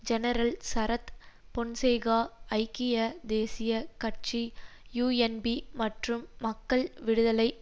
general Sarath Fonseka ஐக்கிய தேசிய கட்சி யூஎன்பி மற்றும் மக்கள் விடுதலை